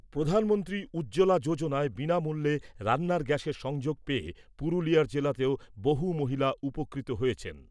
প্রধানমন্ত্রী উজ্জ্বলা যোজনায় বিনামূল্যে রান্নার গ্যাসের সংযোগ পেয়ে পুরুলিয়া জেলাতেও বহু মহিলা উপকৃত হয়েছেন।